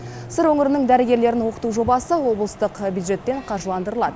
сыр өңірінің дәрігерлерін оқыту жобасы облыстық бюджеттен қаржыландырылады